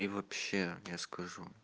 и вообще я скажу